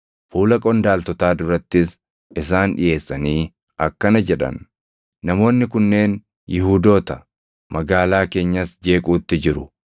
Fuula qondaaltotaa durattis isaan dhiʼeessanii akkana jedhan; “Namoonni kunneen Yihuudoota; magaalaa keenyas jeequutti jiru.